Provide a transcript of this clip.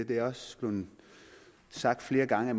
det er også blevet sagt flere gange